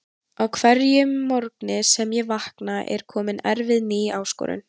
Á hverjum morgni sem ég vakna er komin erfið ný áskorun.